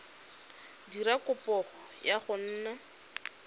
dira kopo ya go nna